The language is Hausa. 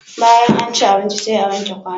Bayan an ci abinci sai a wanke kwanon.